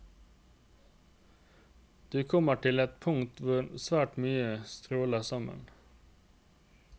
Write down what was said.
Du kommer til et punkt hvor svært mye stråler sammen.